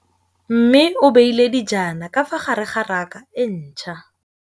Mmê o beile dijana ka fa gare ga raka e ntšha.